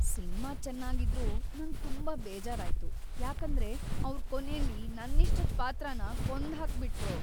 Cinema ಚೆನ್ನಾಗಿದ್ರೂ ನಂಗ್ ತುಂಬಾ ಬೇಜಾರಾಯ್ತು, ಯಾಕಂದ್ರೆ ಅವ್ರು ಕೊನೇಲಿ ನನ್ನಿಷ್ಟದ್ ಪಾತ್ರನ ಕೊಂದ್ಹಾಕ್‌ಬಿಟ್ರು.